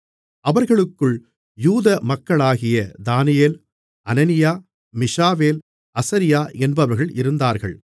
அவர்களுக்குள் யூதா மக்களாகிய தானியேல் அனனியா மீஷாவேல் அசரியா என்பவர்கள் இருந்தார்கள்